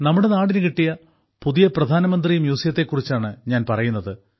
നമ്മുടെ നാടിനു കിട്ടിയ പുതിയ പ്രധാനമന്ത്രി മ്യൂസിയത്തെ കുറിച്ചാണ് ഞാൻ പറയുന്നത്